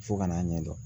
Fo ka n'a ɲɛdɔn